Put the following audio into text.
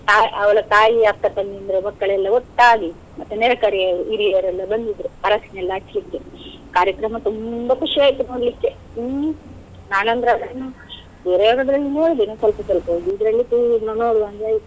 ತಾ~ ಅವಳ ತಾಯಿಯ ಅಕ್ಕ ತಂಗಿಯಂದಿರ ಮಕ್ಕಳೆಲ್ಲ ಒಟ್ಟಾಗಿ, ಮತ್ತೆ ನೆರೆಕರೆ ಯವರು ಹಿರಿಯರೆಲ್ಲ ಬಂದಿದ್ರು ಅರಶಿನ ಎಲ್ಲ ಹಚ್ಚಲಿಕ್ಕೇ. ಕಾರ್ಯಕ್ರಮ ತುಂಬಾ ಖುಷಿ ಆಯ್ತು ನೋಡಲಿಕ್ಕೆ, ಹ್ಮ್ ನಾನಂದ್ರೆ ನೋಡಿದ್ದೇನೆ ಸ್ವಲ್ಪ ಸ್ವಲ್ಪ ಇದ್ರಲ್ಲಿ ಪೂರ್ಣ ನೋಡುವಂಗೆ ಆಯ್ತು.